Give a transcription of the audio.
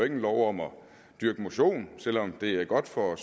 en lov om at dyrke motion selv om det er godt for